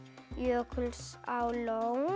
Jökulsárlón